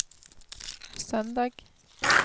søndag